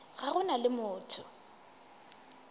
ga go na le motho